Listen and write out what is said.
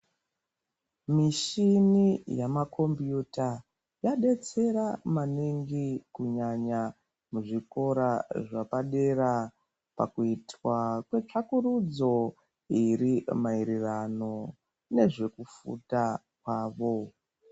Mishini yemakombiyuta yadetsera maningi kunyanya muzvikora zvepadera pakuitwa kwetsvakurudzo iri maererano nekuzvefunda kwavo.